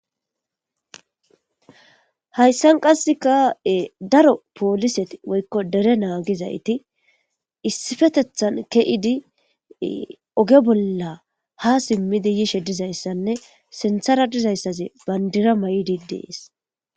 Hayssan qasseka daro pooliseti woykko dere naagizayti issipetethan ke7idi oge bolla ha simmidi yizaysanne sinthara dizaysanne bandira mayidi dees.